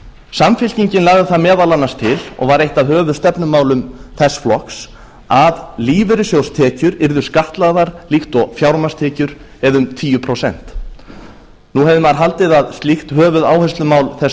samfylkingin lagði það meðal annars til og var eitt af höfuðstefnumálum þess flokks að lífeyrissjóðstekjur yrðu skattlagðar líkt og fjármagnstekjur eða um tíu prósent nú hefði maður haldið að slíkt höfuðáherslumál þess